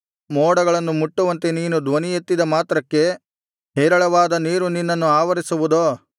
ಮೋಡಗಳನ್ನು ಮುಟ್ಟುವಂತೆ ನೀನು ಧ್ವನಿಯೆತ್ತಿದ ಮಾತ್ರಕ್ಕೆ ಹೇರಳವಾದ ನೀರು ನಿನ್ನನ್ನು ಆವರಿಸುವುದೋ